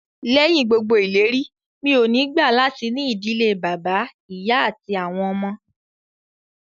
Lẹ́yìn gbogbo ìlérí, mi ò ní gbà latí ní ìdílé bàbá, ìyá àti àwọn ọmọ